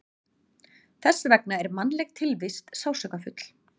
Þess vegna er mannleg tilvist sársaukafull.